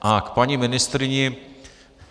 A k paní ministryni.